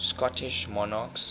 scottish monarchs